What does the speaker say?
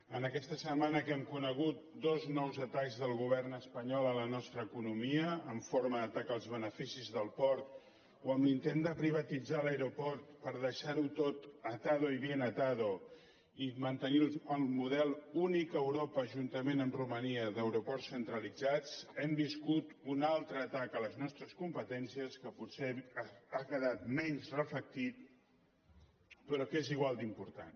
en aquesta setmana que hem conegut dos nous atacs del govern espanyol a la nostra economia en forma d’atac als beneficis del port o amb l’intent de privatitzar l’aeroport per deixar ho tot atado y bien atado i mantenir el model únic a europa juntament amb romania d’aeroports centralitzats hem viscut un altre atac a les nostres competències que potser ha quedat menys reflectit però que és igual d’important